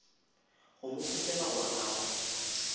go mo kgopela gore a